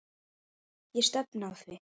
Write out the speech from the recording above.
Ég stefni að því.